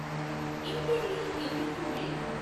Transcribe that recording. imperial Indian mail